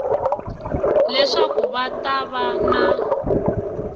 leswaku va ta va na